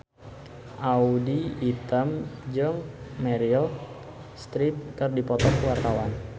Audy Item jeung Meryl Streep keur dipoto ku wartawan